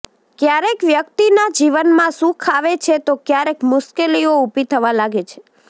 ક્યારેક વ્યક્તિના જીવનમાં સુખ આવે છે તો ક્યારેક મુશ્કેલીઓ ઉભી થવા લાગે છે